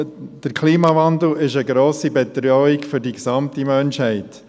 Der Klimawandel ist für die gesamte Menschheit eine grosse Bedrohung.